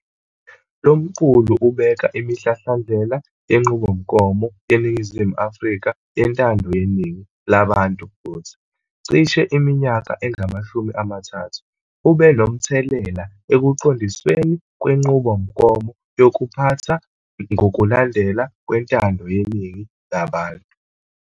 Lo mqulu ubeka imihlahlandlela yenqubomgomo yeNingizimu Afrika yentando yeningi labantu futhi, cishe iminyaka engamashumi amathathu, ubenomthelela ekuqondisweni kwenqubomgomo yokuphatha ngokulandelana kwentando yeningi labantu.